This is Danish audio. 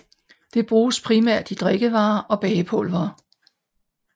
Det bruges primært i drikkevarer og bagepulvere